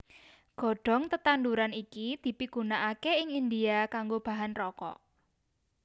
Godhong tetanduran iki dipigunakaké ing India kanggo bahan rokok